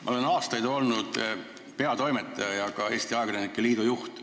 Ma olen aastaid olnud peatoimetaja ja ka Eesti Ajakirjanike Liidu juht.